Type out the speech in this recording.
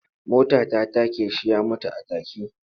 Mota ta take shi ya mutu a take.